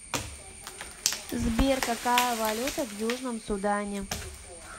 сбер какая валюта в южном судане